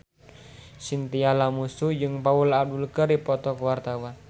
Chintya Lamusu jeung Paula Abdul keur dipoto ku wartawan